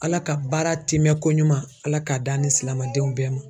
ALA ka baara tiimɛnkoɲuman ALA k'a d'an ni silamɛdenw bɛɛ ma.